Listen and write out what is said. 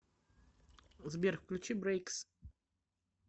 сбер включи но брейкс